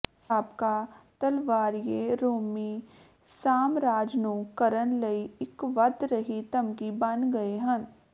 ਸਾਬਕਾ ਤਲਵਾਰੀਏ ਰੋਮੀ ਸਾਮਰਾਜ ਨੂੰ ਕਰਨ ਲਈ ਇੱਕ ਵਧ ਰਹੀ ਧਮਕੀ ਬਣ ਗਏ ਹਨ